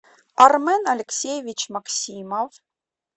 армен алексеевич максимов